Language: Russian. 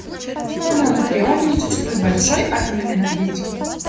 что на анакреоне не существует больше атомной энергетики